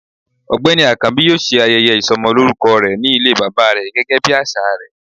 ọgbẹni akanbi yọọ se ayéyé isómolorúkó omo re, ní ilé baba re gégé bí asà re